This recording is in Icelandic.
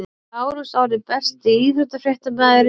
Lárus Orri Besti íþróttafréttamaðurinn?